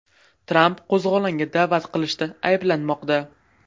Tramp qo‘zg‘olonga da’vat qilishda ayblanmoqda.